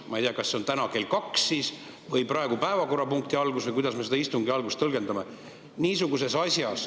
Ma ei tea, kas see on täna kell kaks või praeguse päevakorrapunkti alguses või kuidas me seda istungi algust tõlgendame.